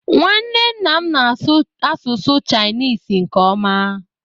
Nwanne nna m na-asụ asụsụ Chinisi nke ọma